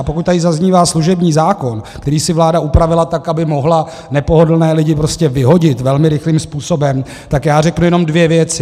A pokud tady zaznívá služební zákon, který si vláda upravila tak, aby mohla nepohodlné lidi prostě vyhodit velmi rychlým způsobem, tak já řeknu jenom dvě věci.